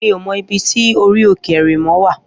Mi ó mò ibi ti óri óké érimò wá